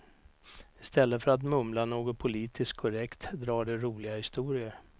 I stället för att mumla något politiskt korrekt drar de roliga historier.